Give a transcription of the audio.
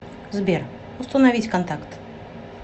сбер установить контакт